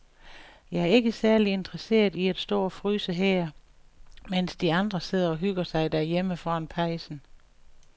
Jeg er ikke særlig interesseret i at stå og fryse her, mens de andre sidder og hygger sig derhjemme foran pejsen.